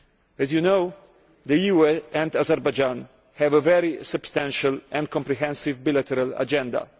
As you know, the EU and Azerbaijan have a very substantial and comprehensive bilateral agenda.